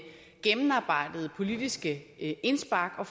gennemarbejdede politiske indspark og